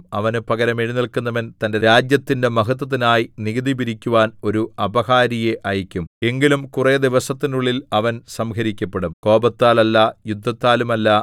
അവന് പകരം എഴുന്നേല്ക്കുന്നവൻ തന്റെ രാജ്യത്തിന്റെ മഹത്വത്തിനായി നികുതി പിരിക്കുവാൻ ഒരു അപഹാരിയെ അയയ്ക്കും എങ്കിലും കുറെ ദിവസത്തിനുള്ളിൽ അവൻ സംഹരിക്കപ്പെടും കോപത്താലല്ല യുദ്ധത്താലുമല്ല